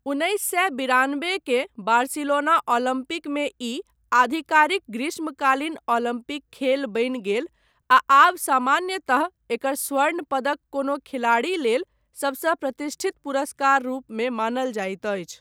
उन्नैस सए बिरानबे के बार्सिलोना ओलम्पिकमे ई आधिकारिक ग्रीष्मकालीन ओलम्पिक खेल बनि गेल आ आब सामान्यतः एकर स्वर्ण पदक कोनो खिलाड़ी लेल सबसँ प्रतिष्ठित पुरस्कार रूपमे मानल जाइत अछि।